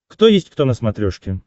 кто есть кто на смотрешке